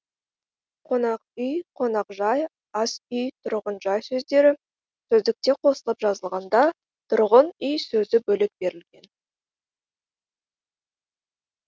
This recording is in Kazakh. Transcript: қонақүй қонақжай асүй тұрғынжай сөздері сөздікте қосылып жазылған да тұрғын үй сөзі бөлек берілген